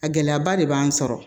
A gɛlɛyaba de b'an sɔrɔ